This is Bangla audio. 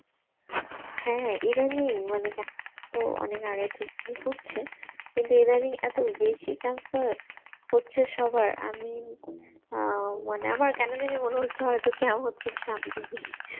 হ্যাঁ ইদানিং মানে তো অনেক আগে থেকেই হচ্ছে কিন্তু ইদানিং এত বেশি cancer হচ্ছে সবার আমি আহ মানে আমার কেন জানি মনে হচ্ছে হয়তো